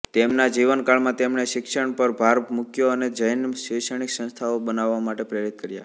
તેમના જીવનકાળમાં તેમણે શિક્ષણ પર ભાર મૂક્યો અને જૈનોને શૈક્ષણિક સંસ્થાઓ બનાવવા માટે પ્રેરિત કર્યા